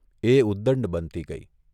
એ ઉદંડ બનતી ગઇ.